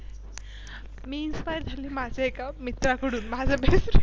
मी Inspire झाले माझ्या एका मित्राकडून माझा Best Friend